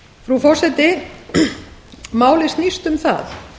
frú forseti málið snýst um það